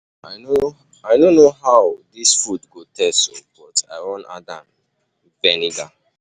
I no know how um dis food go taste oo but I wan um add am vinegar.